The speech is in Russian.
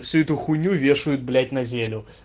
всю эту хуйню вешают блять на зелю